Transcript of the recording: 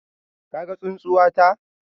Ka gan tsunsuwata?